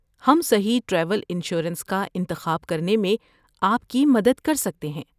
ہم صحیح travel insurance کا انتخاب کرنے میں آپ کی مدد کر سکتے ہیں۔